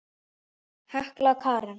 Hekla Karen.